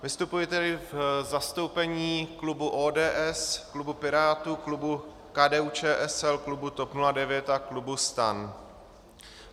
Vystupuji tedy v zastoupení klubu ODS, klubu Pirátů, klubu KDU-ČSL, klubu TOP 09 a klubu STAN.